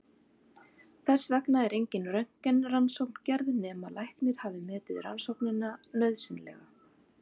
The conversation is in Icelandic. Þess vegna er engin röntgenrannsókn gerð nema læknir hafi metið rannsóknina nauðsynlega.